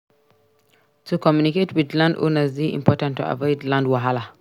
To communicate with landowners dey important to avoid land wahala.